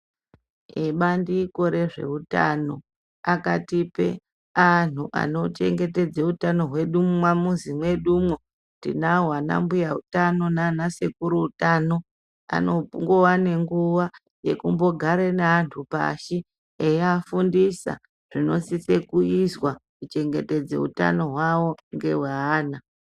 Ebsndiko rezvehutano, akatipe anhu anochengetedze hutano hwedu mumwa muzi medu mo. Tinawo ana mbuya hutano nana sekuru hutano, anowane nguwa yekumbogare ne antu pashi eyafundisa zvinosise kuyiswa kuchengetedza hutani hwawo ngewe wana.